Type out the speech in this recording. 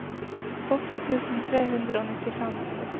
åtti tusen tre hundre og nittifem